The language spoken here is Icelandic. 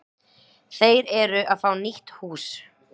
Þeir eru að fá nýtt hús.